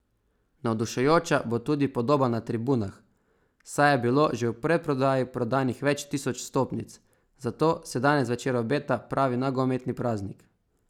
Navdušujoča bo tudi podoba na tribunah, saj je bilo že v predprodaji prodanih več tisoč vstopnic, zato se danes zvečer obeta pravi nogometni praznik.